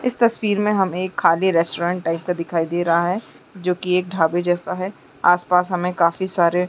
इस तस्वीर में हमें एक खाली रेस्टोरेंट टाइप का दिखाई दे रहा है जो की एक ढाबे जैसा है आस-पास हमें काफी सारे--